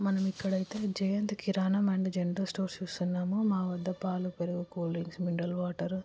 మనం ఇక్కడ అయితే Jayant Kirana and general stores చూస్తునము మా వద్ధ పాలు పెరుగు కూల్ డ్రింక్స్ మినరల్ వాటర్ --